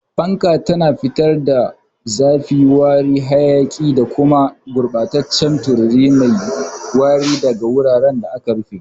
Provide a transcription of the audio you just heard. Fanka tana fitar da zafi, wari, hayaki, da kuma gurɓataccen tururi mai wari daga wuraren da aka rufe.